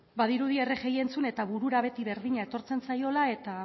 badirudi rgi entzun eta burura beti berdina etortzen zaiola eta